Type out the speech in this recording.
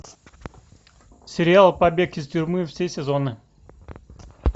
сериал побег из тюрьмы все сезоны